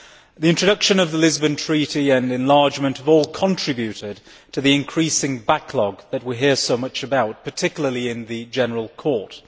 The introduction of the Lisbon Treaty and enlargement have all contributed to the increasing backlog that we hear so much about, particularly in the General Court.